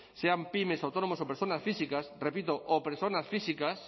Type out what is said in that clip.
sean pymes autónomos o personas físicas repito o personas físicas